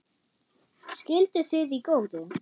Skilduð þið í góðu?